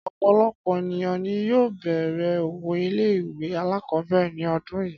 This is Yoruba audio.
Ọ̀pọ̀lọpọ̀ ènìyàn ni yóò bẹ̀rẹ̀ òwò ilé ìwé alákọ̀ọ́bẹ̀rẹ̀ ní ọdún yìí